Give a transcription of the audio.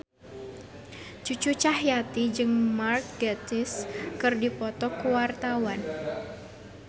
Cucu Cahyati jeung Mark Gatiss keur dipoto ku wartawan